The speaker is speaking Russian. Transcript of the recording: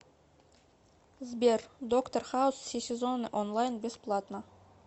сбер доктор хаус все сезоны онлайн бесплатно